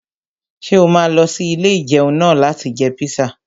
Ṣé o máa lọ sí ilé-ìjẹun náà láti jẹ píṣà?